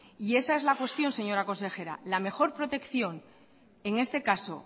y esa es la cuestión señora consejera la mejor protección en este caso